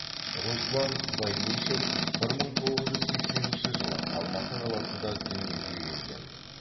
руслан баймишев бір мың тоғыз жүз сексенінші жылы алматы қаласында дүниеге келген